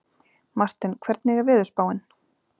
Marthen, hvernig er veðurspáin?